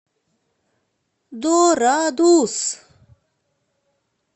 дорадус